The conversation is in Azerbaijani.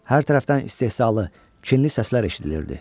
Hər tərəfdən istehzalı, kinli səslər eşidilirdi.